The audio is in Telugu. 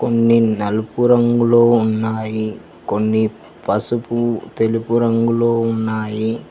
నలుపు రంగులో ఉన్నాయి కొన్ని పసుపు తెలుపు రంగులో ఉన్నాయి.